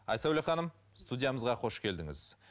айсәуле ханым студиямызға қош келдіңіз